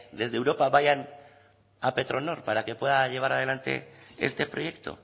desde europa vayan a petronor para que pueda llevar adelante este proyecto